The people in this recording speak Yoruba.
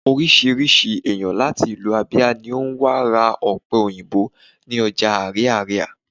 orísirísi eyan lati ìlú ábíá ni o wa ra òpe òyìnbó ni oja ariaria